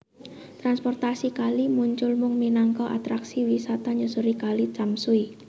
Transportasi kali muncul mung minangka atraksi wisata nyusuri Kali Tamsui